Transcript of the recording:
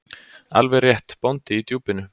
Alveg rétt: Bóndi í Djúpinu.